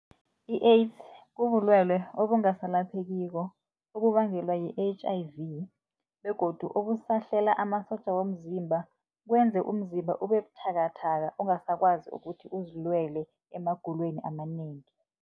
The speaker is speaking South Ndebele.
I-AIDS kubulwelwe obungasalaphekiko okubangelwa yi-H_I_V begodu okusahlela amasotja womzimba, kwenze umzimba ubebuthakathaka angasakwazi ukuthi uzilwele emagulweni amanengi.